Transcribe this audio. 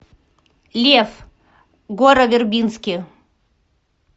лев гора вербински